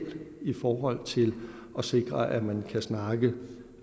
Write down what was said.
i forhold til at sikre at man kan snakke